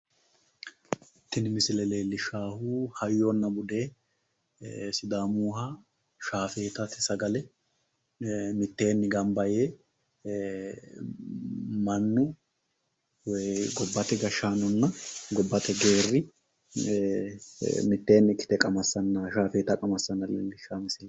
Tini misile leellishaahu hayyona bude sidaamuyiha shaafetate sagale mitteenni gamba yee mannu gobbate gashaanonna gobbate geerri miteenni ikkite qamasanna shaafeeta qamassanna leellishshanno misileetl.